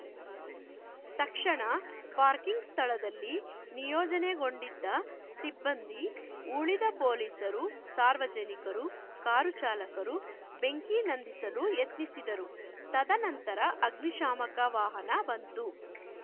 ತಕ್ಷಣ ಪಾರ್ಕಿಂಗ್‌ ಸ್ಥಳದಲ್ಲಿ ನಿಯೋಜನೆಗೊಂಡಿದ್ದ ಸಿಬ್ಬಂದಿ ಉಳಿದ ಪೊಲೀಸರು ಸಾರ್ವಜನಿಕರು ಕಾರು ಚಾಲಕರು ಬೆಂಕಿ ನಂದಿಸಲು ಯತ್ನಿಸಿದರು ತದನಂತರ ಅಗ್ನಿ ಶಾಮಕ ವಾಹನ ಬಂತು